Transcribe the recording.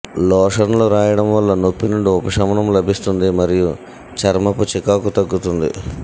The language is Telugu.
లోషన్లు రాయడం వల్ల నొప్పి నుండి ఉపశమనం లభిస్తుంది మరియు చర్మపు చికాకు తగ్గుతుంది